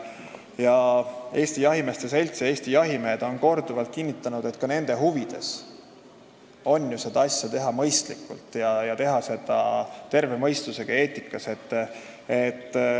Eesti Jahimeeste Selts ja Eesti jahimehed on korduvalt kinnitanud, et ka nende huvides on seda asja teha mõistlikult ja terve mõistusega, eetiliselt.